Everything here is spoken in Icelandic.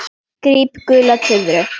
Gríp gula tuðru.